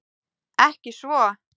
Ekki svo.